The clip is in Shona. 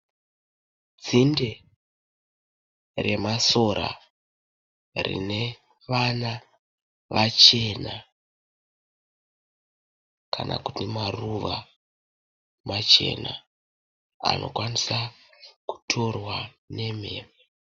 Dzinde remasora rine vana vachena, kana kuti maruva machena anokwanisa kutorwa nemhepo.